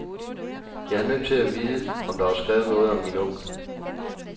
Jeg er nødt til at vide, om der var skrevet noget om min onkel.